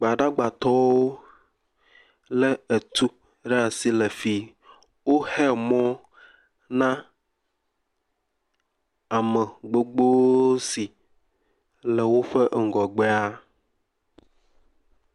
Gbadagbatɔwo le etu ɖe asi le fi woxe mɔ na ame gbogbo si le woƒe eŋɔgbea.